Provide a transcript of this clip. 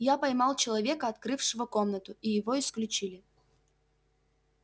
я поймал человека открывшего комнату и его исключили